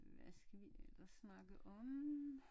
Hvad skal vi ellers snakke om?